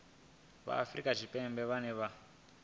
vha afrika tshipembe vhane vha